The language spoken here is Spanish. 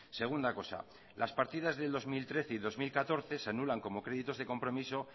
segunda cosa las partidas del dos mil trece y dos mil catorce se anulan como créditos de compromiso